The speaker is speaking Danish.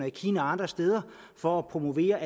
i kina og andre steder for at promovere